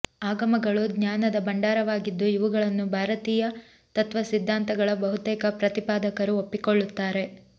ಆಗಮಗಳು ಜ್ಞಾನದ ಭಂಡಾರವಾಗಿದ್ದು ಇವುಗಳನ್ನು ಭಾರತೀಯ ತತ್ವಸಿದ್ಧಾಂತಗಳ ಬಹುತೇಕ ಪ್ರತಿಪಾದಕರು ಒಪ್ಪಿಕೊಳ್ಳುತ್ತಾರೆ